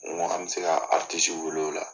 An bi se ka wele o la.